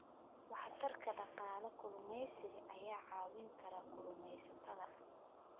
Waxtarka Dhaqaale Kalluumeysiga ayaa caawin kara kalluumeysatada.